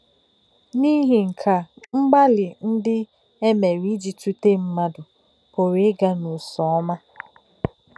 N’ìhì̄ nkè̄ à, mgbálị̀ ndí̄ ē mè̄rè̄ íjì̄ tútè̄ mmádụ̀ pù̄rụ̄ ígá̄ n’ụ́sọ́mā.